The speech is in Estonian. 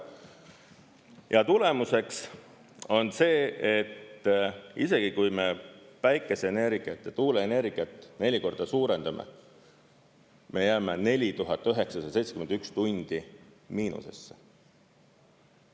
Ja tulemuseks on see, et isegi kui me päikeseenergiat ja tuuleenergiat neli korda suurendame, me jääme 4971 tundi miinusesse.